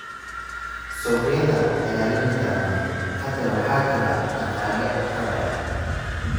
Suuqyada ayaa la nidaamiyay. Hadda waxaa jira dhaqaale xor ah.